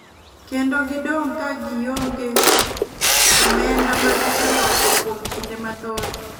Knedo gidong ka gi ong'e omenda ma giseloso kuom kinde mathoth.